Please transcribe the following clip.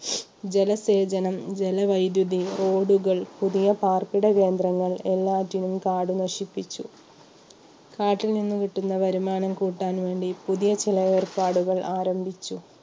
ജലസേചനം, ജലവൈദ്യുതി, road കൾ, പുതിയ പാർപ്പിട കേന്ദ്രങ്ങൾ എല്ലാറ്റിനും കാട് നശിപ്പിച്ചു. കാട്ടിൽ നിന്ന് കിട്ടുന്ന വരുമാനം കൂട്ടാൻ വേണ്ടി പുതിയ ചില ഏർപ്പാടുകൾ ആരംഭിച്ചു.